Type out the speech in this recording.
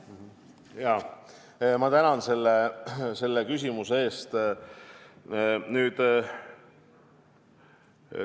Tänan selle küsimuse eest!